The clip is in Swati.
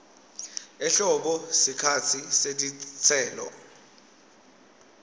ehlobo sikhatsi setitselo